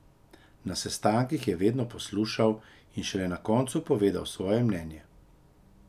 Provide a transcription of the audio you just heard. Na sestankih je vedno poslušal in šele na koncu povedal svoje mnenje.